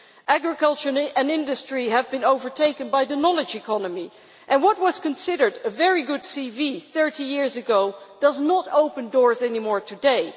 Agriculture and industry have been overtaken by the knowledge economy and what was considered a very good CV 30 years ago no longer opens doors today.